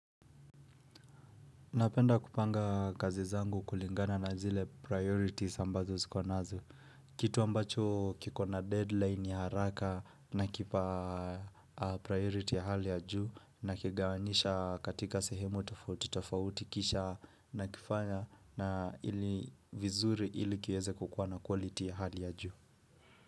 Napenda kupanga kazi zangu kulingana na zile priorities ambazo zikonazo. Kitu ambacho kikona deadline ya haraka na kipa priority ya hali ya juu na kigawanyisha katika sehemu tafauti tafauti kisha nakifanya na ili vizuri ili kiweze kukuwa na quality ya hali ya juu.